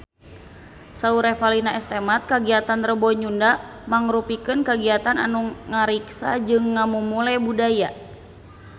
Saur Revalina S. Temat kagiatan Rebo Nyunda mangrupikeun kagiatan anu ngariksa jeung ngamumule budaya Sunda